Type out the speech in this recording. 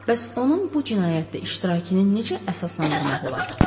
Bəs onun bu cinayətdə iştirakını necə əsaslandırmaq olar?